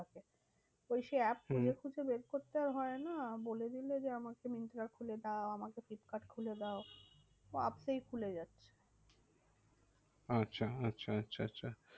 ওই সেই app খুঁজে হম খুঁজে বের করতে আর হয় না, বলে দিলে যে আমাকে মিন্ত্রা খুলে দাও, আমাকে ফ্লিপকার্ড খুলে দাও, তো আপসেই খুলে যায়। আচ্ছা আচ্ছা আচ্ছা আচ্ছা